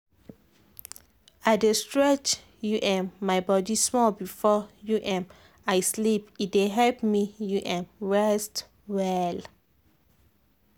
i dey stretch um my body small before um i sleep e dey help me um rest well.